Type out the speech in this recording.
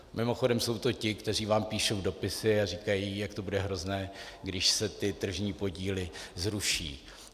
Mimochodem jsou to ti, kteří vám píšou dopisy a říkají, jak to bude hrozné, když se ty tržní podíly zruší.